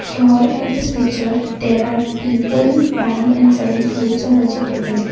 here in this picture there are people buying and selling fruits or vegetables.